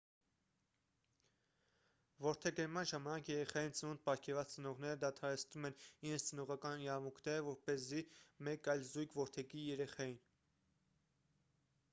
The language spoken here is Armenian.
որդեգրման ժամանակ երեխային ծնունդ պարգևած ծնողները դադարեցնում են իրենց ծնողական իրավունքները որպեսզի մեկ այլ զույգ որդեգրի երեխային